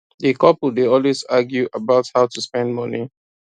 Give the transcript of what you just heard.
di couple dey always argue about how to spend money